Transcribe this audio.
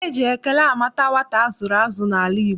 Eji ekele ama nwata a zụrụ azụ n'ala Igbo.